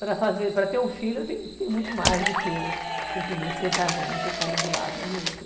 Para fazer, para ter um filho, tem tem muito mais do que simplesmente sentar junto e estar ali do lado um do outro.